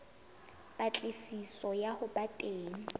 patlisiso ya ho ba teng